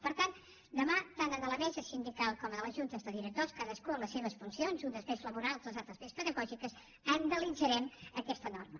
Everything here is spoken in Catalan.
per tant demà tant a la mesa sindical com a les juntes de directors cadascú amb les seves funcions unes més laborals les altres més pedagògiques analitzarem aquesta norma